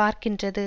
வார்க்கின்றது